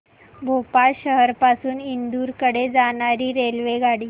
भोपाळ शहर पासून इंदूर कडे जाणारी रेल्वेगाडी